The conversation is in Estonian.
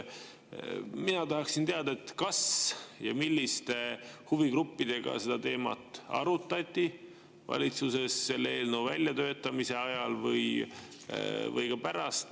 Mina tahaksin teada, kas ja milliste huvigruppidega seda teemat arutati valitsuses selle eelnõu väljatöötamise ajal või ka pärast.